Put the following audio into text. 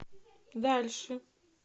дальше